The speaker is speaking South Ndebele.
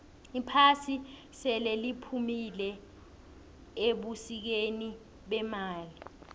iphasi seliphumile ebusikeni bemali